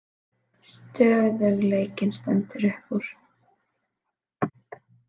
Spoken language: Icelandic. Stöðugleikinn stendur upp úr